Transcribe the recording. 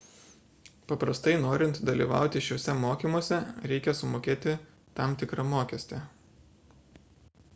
paprastai norint dalyvauti šiuose mokymuose reikia sumokėti tam tikrą mokestį